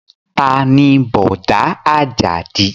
Taa ni Bọ̀dá Àjàdí?